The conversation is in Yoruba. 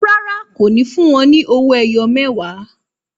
Rárá, kò ní fún wọn ní owó ẹyọ mẹwa